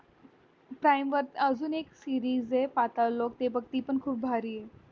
अजून एक series ए patal lok ते बग ती पण खूप भारीये